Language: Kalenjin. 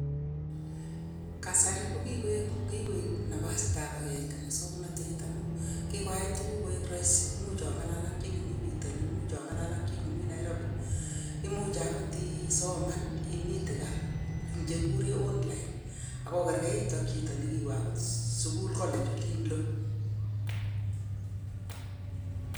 Kasari ko kikoiib napasitab akenge muswoknotet amu kikoyai tuguk koek rahisi. Imuch ong'alal ak chi nemi pitonin, imuch ong'alal ak chi nemi Nairobi. Imuchi agot isoman imitei kaa eng chekigure online, ak okergeitu ak chito ne kiwo agot sukul college olin lo.